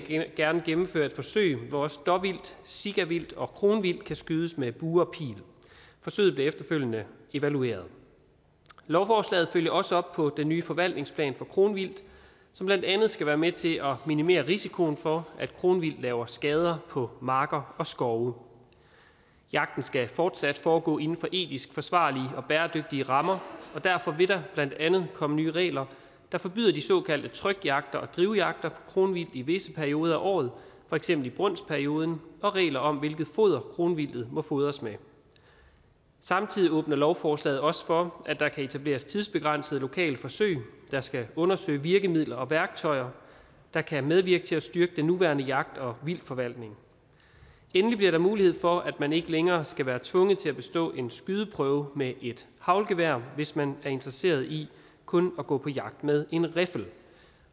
gerne gennemføre et forsøg hvor også dåvildt sikavildt og kronvildt kan skydes med bue og pil forsøget bliver efterfølgende evalueret lovforslaget følger også op på den nye forvaltningsplan for kronvildt som blandt andet skal være med til at minimere risikoen for at kronvildt laver skader på marker og skove jagten skal fortsat foregå inden for etisk forsvarlige og bæredygtige rammer og derfor vil der blandt andet komme nye regler der forbyder de såkaldte trykjagter og drivjagter kronvildt i visse perioder af året for eksempel i brunstperioden og regler om hvilket foder kronvildtet må fodres med samtidig åbner lovforslaget også for at der kan etableres tidsbegrænsede lokale forsøg der skal undersøge virkemidler og værktøjer der kan medvirke til at styrke den nuværende jagt og vildtforvaltning endelig bliver der mulighed for at man ikke længere skal være tvunget til at bestå en skydeprøve med et haglgevær hvis man er interesseret i kun at gå på jagt med en riffel